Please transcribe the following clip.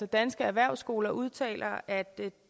danske erhvervsskoler udtaler at